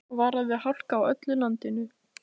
Varað við hálku á öllu landinu